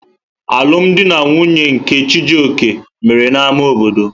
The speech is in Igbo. Alụm di na nwunye nke Chijioke mere n'ámá obodo.